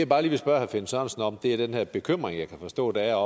bare lige vil spørge herre finn sørensen om er den her bekymring jeg kan forstå der er